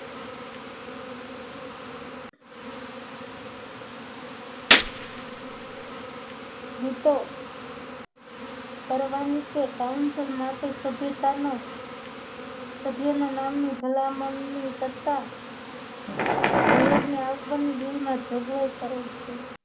તો ભરવાની કે કાઉન્સલ માટે સભ્યતાનો સભ્યોના નામની ભલામણની સત્તા મેયરને આપવાની બિલમાં જોગવાઈ કરેલ છે